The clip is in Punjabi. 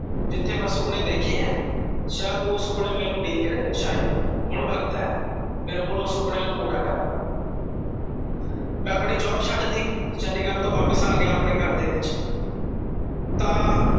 ਜਿੱਥੇ ਮੈਂ ਸੁਪਨੇ ਦੇਖੇ ਐ ਸ਼ਾਇਦ ਓਹ ਸੁਪਨੇ ਮੈਨੂੰ ਉਡੀਕ ਰਹੇ ਸ਼ਾਇਦ ਹੁਣ ਵਖਤ ਐ ਮੇਰੇ ਕੋਲ ਓਹ ਸੁਪਨੇ ਨੂੰ ਪੂਰਾ ਕਰਨ ਦਾ। ਮੈਂ ਆਪਣੀ ਜੋਬ ਛੱਡ ਟੀ ਚੰਡੀਗੜ ਤੋਂ ਵਾਪਿਸ ਆ ਗਿਆ ਆਪਣੇ ਘਰ ਦੇ ਵਿੱਚ ਤਾਂ